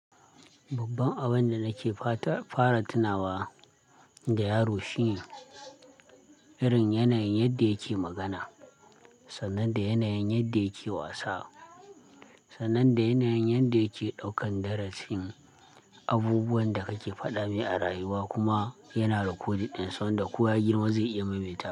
Babban abin da nake fara tunawa da yaro shine irin yanayin yadda yake magana, sannan da yanayin yadda yake wasa, sannan da yanayin yadda yake ɗaukan darasin. Abubuwan da kake faɗa me a rayuwa kuma yana recording ɗinsa, wanda koya girma zai iya maimaita.